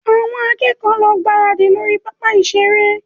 Àwọn akẹ́kọ̀ọ́ lọ gbáradì lórí pápá ìṣeré